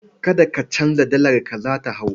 Kada ka canza dalarka, za ta hau.